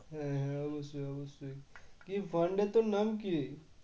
হ্যাঁ হ্যাঁ অবশ্যই অবশ্যই কি fund এর তোর নাম কি?